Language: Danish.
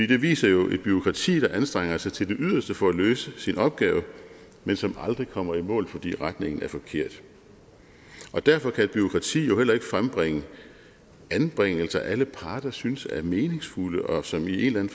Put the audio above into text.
det viser jo et bureaukrati der anstrenger sig til det yderste for at løse sin opgave men som aldrig kommer i mål fordi retningen er forkert derfor kan et bureaukrati jo heller ikke frembringe anbringelser som alle parter synes er meningsfulde og som i en